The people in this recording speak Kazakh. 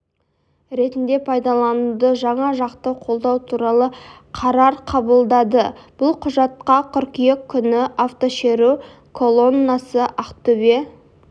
ретінде пайдалануды жан жақты қолдау туралы қарар қабылдады бұл құжатқа қыркүйек күні автошеру колоннасы ақтөбе